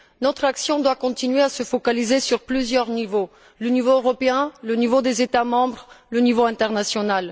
Notre action doit continuer à se focaliser sur plusieurs niveaux le niveau européen, le niveau des États membres, le niveau international.